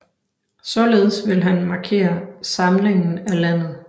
Således ville han markere samlingen af landet